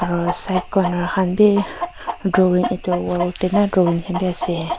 aru side corner khan bi drawing etu wall te nah drawing khan bi ase.